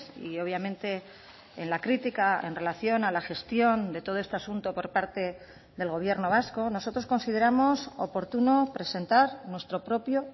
y obviamente en la crítica en relación a la gestión de todo este asunto por parte del gobierno vasco nosotros consideramos oportuno presentar nuestro propio